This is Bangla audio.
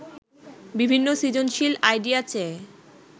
বিভিন্ন সৃজনশীল আইডিয়া চেয়ে